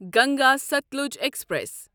Ganga Sutlej express